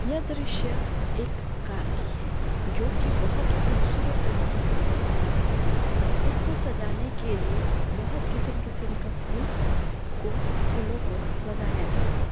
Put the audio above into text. यह दृश्य एक कार की है जो की बहुत खूबसूरत तरीके से सजाया गया है इसको सजाने के लिए बहुत किस्म-किस्म का फूल को फूलों को लगाया गया है।